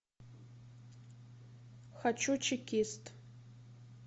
хочу чекист